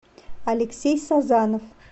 алексей созанов